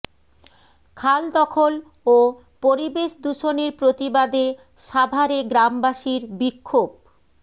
খাল দখল ও পরিবেশ দূষণের প্রতিবাদে সাভারে গ্রামবাসীর বিক্ষোভ